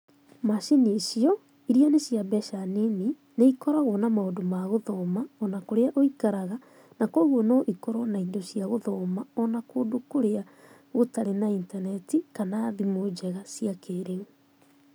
Macini icio, iria nĩ cia mbeca nini ikoragwo na maũndũ ma gũthoma o na kũrĩa ũikaraga na kwoguo no ikorũo na indo cia gũthoma o na kũndũ gũtarĩ na intaneti kana thimu njega cia kĩĩrĩu.